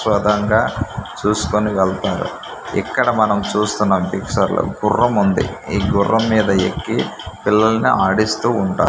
ప్రదాంగ చూసుకొని వెళ్తారు ఇక్కడ మనం చూస్తున్న డిఫ్చర్ లో గుర్రం ఉంది ఈ గుర్రం మీద ఎక్కి పిల్లల్ని ఆడిస్తూ ఉంటా--